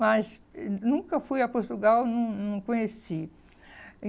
Mas nunca fui a Portugal, não não conheci.